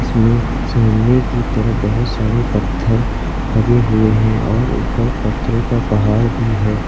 इसमें सामने की तरफ बहोत सारे पत्थर लगे हुए हैं और ऊपर पत्थरों का पहाड़ भी है।